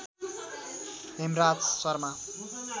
Hemraj Sharma